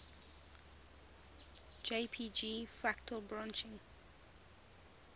jpg fractal branching